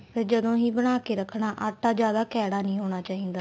ਫੇਰ ਜਦੋਂ ਹੀ ਬਣਾ ਕੇ ਰੱਖਣਾ ਆਟਾ ਜਿਆਦਾ ਕੈੜਾ ਨੀ ਹੋਣਾ ਚਾਹੀਦਾ